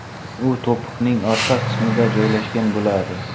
U to‘piqning orqa qismida joylashgan bo‘ladi.